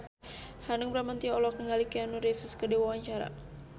Hanung Bramantyo olohok ningali Keanu Reeves keur diwawancara